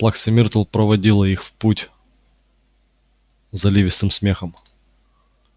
плакса миртл проводила их в путь заливистым смехом